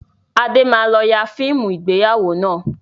Adé máa lọ yà fíìmù ìgbéyàwó náà